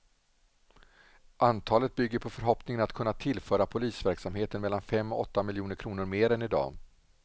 Antalet bygger på förhoppningen att kunna tillföra polisverksamheten mellan fem och åtta miljoner kronor mer än i dag.